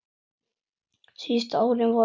Síðustu árin voru Höllu erfið.